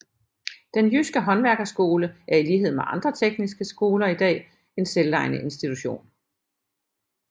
Den jydske Haandværkerskole er i lighed med andre tekniske skoler i dag en selvejende institution